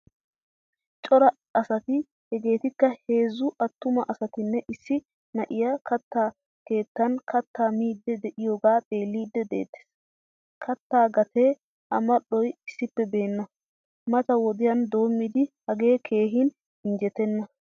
Cora asati hegettika heezzu attuma asatine issi na'iyaa katta keettan katta miidi de'iyoga xeelidi de'etees. Katta gatee a mal'oy issippe beena. Mata wodiyan doommidi hage keehin injjetena.